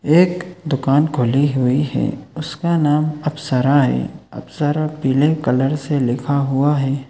एक दुकान खुली हुई है। उसका नाम अप्सरा है। अप्सरा पीले कलर से लिखा हुआ है ।